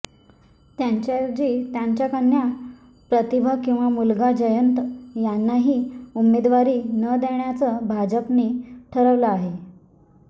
त्यांच्याऐवजी त्यांच्या कन्या प्रतिभा किंवा मुलगा जयंत यांनाही उमेदवारी न देण्याचं भाजपने ठरवलं आहे